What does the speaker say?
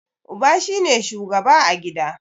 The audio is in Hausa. Uba shi ne shugaba a gida.